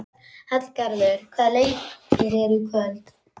Hallgarður, hvaða leikir eru í kvöld?